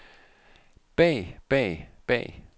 bag bag bag